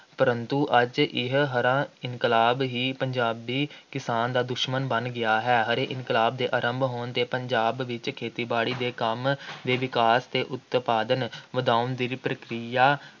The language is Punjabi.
ਪਰੰਤੂ ਅੱਜ ਇਹ ਹਰਾ ਇਨਕਲਾਬ ਹੀ ਪੰਜਾਬੀ ਕਿਸਾਨ ਦਾ ਦੁਸ਼ਮਣ ਬਣ ਗਿਆ ਹੈ । ਹਰੇ ਇਨਕਲਾਬ ਦੇ ਆਰੰਭ ਹੋਣ 'ਤੇ ਪੰਜਾਬ ਵਿੱਚ ਖੇਤੀ ਬਾੜੀ ਦੇ ਕੰਮ ਦੇ ਵਿਕਾਸ ਅਤੇ ਉਤਪਾਦਨ ਵਧਾਉਣ ਦੀ ਪ੍ਰਕਿਰਿਆ